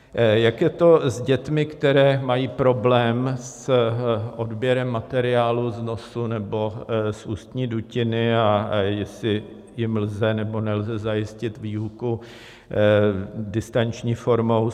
Jak je to s dětmi, které mají problém s odběrem materiálu z nosu nebo z ústní dutiny a jestli jim lze, nebo nelze zajistit výuku distanční formou.